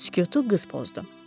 Sükutu qız pozdu.